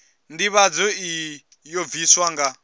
ndivhadzo iyi yo bvisiwa nga